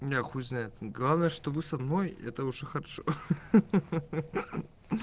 у меня хуй знает главное что вы со мной это уже хорошо хи-хи